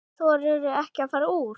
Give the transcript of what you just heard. Þorirðu ekki að fara úr?